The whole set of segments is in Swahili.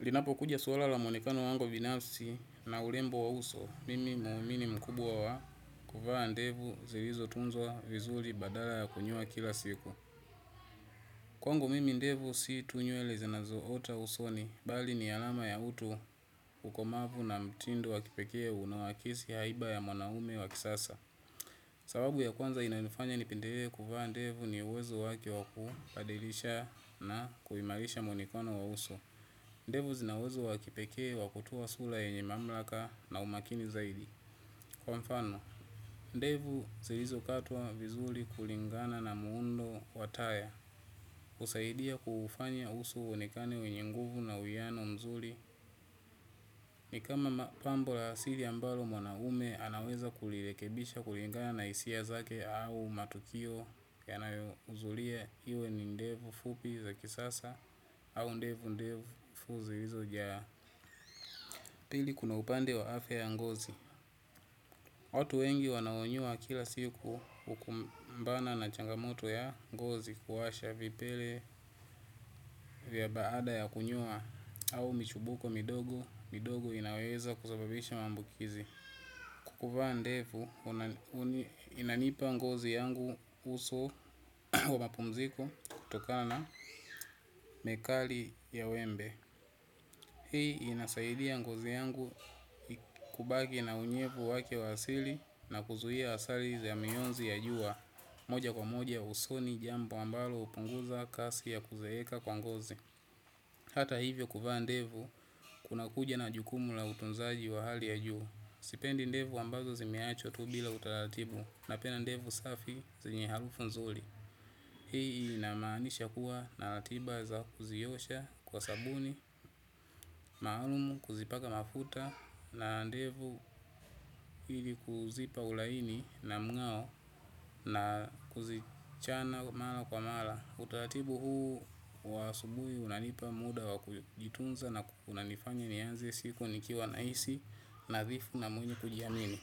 Linapo kuja suwala la monekano wangu vinafsi na ulembo wa uso, mimi mumini mkubwa wa kuvaa ndevu zirizo tunzwa vizuli badala ya kunyoa kila siku. Kwangu mimi ndevu si tunyelezenazo ota usoni, bali ni alama ya utu ukomavu na mtindo wakipekee una wakisi haiba ya mwanaume wakisasa. Sababu ya kwanza inayonifanya ni penderee kuvaa ndevu ni uwezo wake waku padirisha na kuhimarisha monekano wa uso. Ndevu zinauwezo wakipekee wakutowa sura yenye mamlaka na umakini zaidi. Kwa mfano, ndevu zirizo katwa vizuli kulingana na muundo wataya. Usaidia kuhufanya uso wonekane wenye nguvu na uyano mzuli. Ni kama pambo la siri ambalo mwanaume anaweza kulirekebisha kulingana na hisia zake au matukio yanayohuzulia iwe ni ndevu fupi za kisasa au ndevu ndefu zilizojaa. Pili kuna upande wa afya ya ngozi. Watu wengi wanaonyoa kila siku hukumbana na changamoto ya ngozi kuwasha vipele vya baada ya kunyoa au michubuko midogo midogo inayoweza kusababisha maambukizi. Kukuvaa ndevu, inanipa ngozi yangu uso wa mapumziko kutokana na mekali ya wembe. Hii inasaidia ngozi yangu kubaki na unyevu wake wa asili, na kuzuia asali za mionzi ya jua. Moja kwa moja usoni jambo ambalo hupunguza kasi ya kuzeeka kwa ngozi. Hata hivyo kuvaa ndevu, kunakuja na jukumu la utunzaji wa hali ya juu. Sipendi ndevu ambazo zimewachwa tu bila utaratibu. Napenda ndevu safi zenye harufu nzuri. Hii inamaanisha kuwa na ratiba za kuziosha kwa sabuni, maalum, kuzipaka mafuta na ndevu ili kuzipa ulaini na mng'ao na kuzichana mala kwa mala. Utaratibu huu wa asubuhi unanipa muda wa kujitunza na kunanifanya nianze siku nikiwa nahisi nathifu na mwili kujiamini.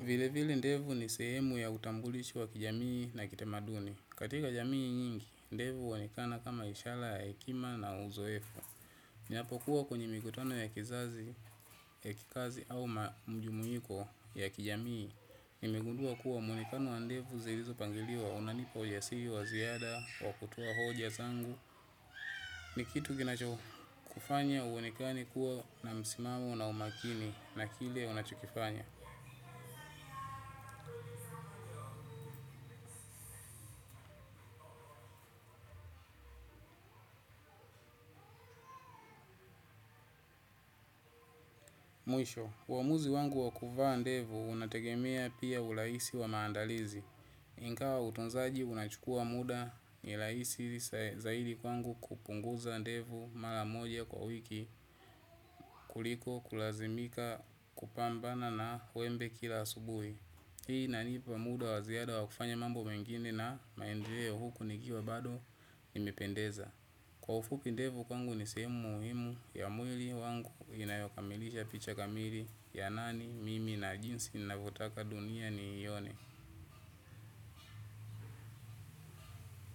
Vilevile ndevu ni sehemu ya utambulisho wa kijamii na kitamaduni. Katika jamii nyingi, ndevu huonekana kama ishala ya hekima na uzoefu. Napokuwa kwenye mikutano ya kizazi, ya kikazi au ma mjumuiko ya kijamii nimegundua kuwa mwonekano wa ndevu zilizopangiliwa unanipa ujasiri wa ziada wa kutoa hoja zangu. Ni kitu kinachokufanya uonekane kuwa na msimamo na umakini na kile unachokifanya. Mwisho, uamuzi wangu wa kuvaa ndevu unategemea pia urahisi wa maandalizi. Ingawa utunzaji unachukua muda ni rahisi zaidi kwangu kupunguza ndevu mara moja kwa wiki kuliko kulazimika kupambana na wembe kila asubuhi. Hii inanipa muda wa ziada wa kufanya mambo mengine na maendeleo huku nikiwa bado nimependeza. Kwa ufupi ndevu kwangu ni sehemu muhimu ya mwili wangu inayokamilisha picha kamili ya nani mimi na jinsi navotaka dunia niione.